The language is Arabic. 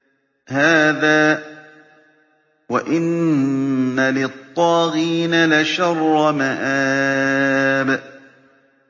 هَٰذَا ۚ وَإِنَّ لِلطَّاغِينَ لَشَرَّ مَآبٍ